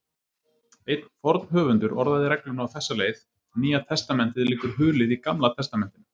Einn forn höfundur orðaði regluna á þessa leið: Nýja testamentið liggur hulið í Gamla testamentinu.